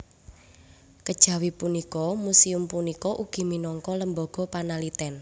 Kejawi punika muséum punika ugi minangka lembaga panaliten